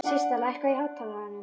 Systa, lækkaðu í hátalaranum.